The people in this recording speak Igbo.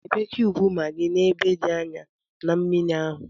Debe kiyubu maggi n'ebe dị anyaa na mmiri ahụ